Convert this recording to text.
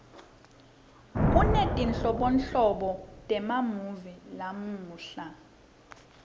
kunetinhlobonhlobo temamuvi lamuhla